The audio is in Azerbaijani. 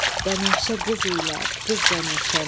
Bənövşə qız ilər qız bənövşəni.